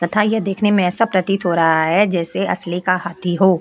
तथा यह देखने में ऐसा प्रतीत हो रहा है जैसे असली का हाथी हो।